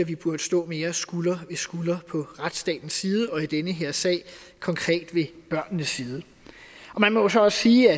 vi burde stå mere skulder ved skulder på retsstatens side og i denne her sag konkret ved børnenes side man må jo så også sige